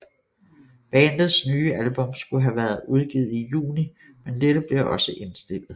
Bandets nye album skulle have været været udgivet i juni men dette blev også indstillet